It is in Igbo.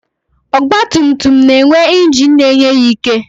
Ọgbatumtum na-enwe ingin na-enye ya ike.